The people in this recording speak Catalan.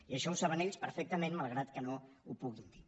i això ho saben ells perfectament malgrat que no ho puguin dir